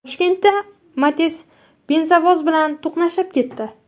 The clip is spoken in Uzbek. Toshkentda Matiz benzovoz bilan to‘qnashib ketdi.